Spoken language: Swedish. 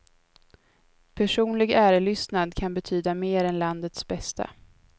Personlig ärelystnad kan betyda mer än landets bästa.